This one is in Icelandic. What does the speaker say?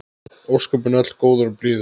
Ósköpin öll góður og blíður.